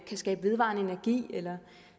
skabe vedvarende energi eller